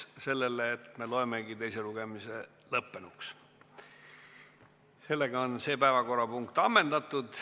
Teine lugemine on lõppenud, see päevakorrapunkt on ammendatud.